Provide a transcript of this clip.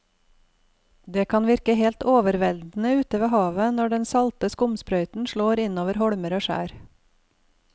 Det kan virke helt overveldende ute ved havet når den salte skumsprøyten slår innover holmer og skjær.